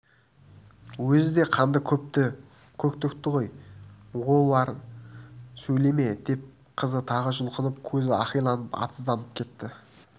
өзі де қанды көп төкті ғой олай сөйлеме деп қызы тағы жұлқынып көзі ақиланып атызданып кетті